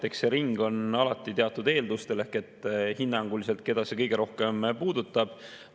Eks see ring on alati teatud eeldustel, et keda see hinnanguliselt kõige rohkem puudutab.